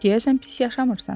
Deyəsən pis yaşamırsan.